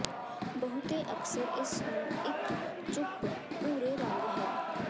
ਬਹੁਤੇ ਅਕਸਰ ਇਸ ਨੂੰ ਇੱਕ ਚੁੱਪ ਭੂਰੇ ਰੰਗ ਹੈ